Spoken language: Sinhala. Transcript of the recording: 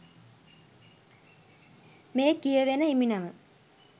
මේ කියවෙන හිමිනම